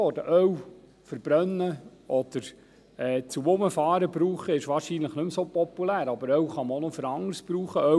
Öl für die Verbrennung oder zum Herumfahren zu gebrauchen, ist wahrscheinlich nicht mehr so populär, aber Öl kann man noch für anderes brauchen.